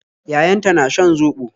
Yayanta na shan zobo.